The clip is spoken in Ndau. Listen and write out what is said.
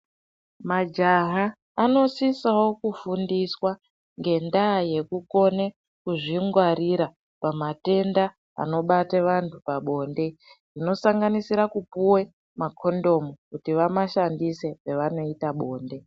Majaha anosisawo kufundiswa ngendaa yekukone kuzvingwarira pamatenda anobate vanhu pabonde zvinosanganisira kupuwe makondomu kuti vamashandise pavanoita bonde.